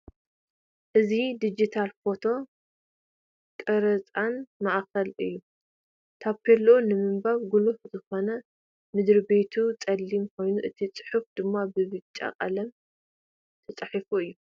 እዚ ድጅታል ፎቶን ቐረፃን ማእኽል እዩ። ታፔሉኡ ንምባብ ጉሉህ ዝኾነ ምድርቤቱ ፀሊም ኮይኑ እቲ ፅሑፍ ድማ ብ ብጫ ቐለም ዝተፃሕፈ እዩ ።